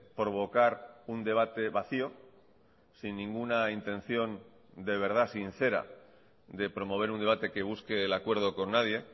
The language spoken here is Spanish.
provocar un debate vacío sin ninguna intención de verdad sincera de promover un debate que busque el acuerdo con nadie